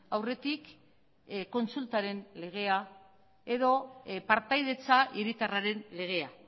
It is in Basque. aurretik kontsultaren legea edo partaidetza hiritarraren legea